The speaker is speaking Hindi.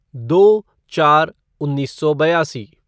दो चार उन्नीस सौ बयासी